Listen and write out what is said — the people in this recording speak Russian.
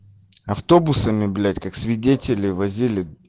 автобусами блять как свидетелей возили